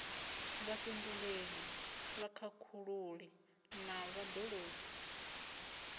vhafhinduleli vhakhakhululi na vhad ologi